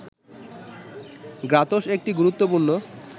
গ্রাতস একটি গুরুত্বপূর্ণ